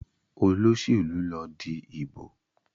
Olóṣèlú lọ dì ibo.